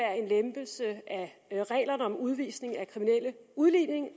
reglerne om udvisning af kriminelle udlændinge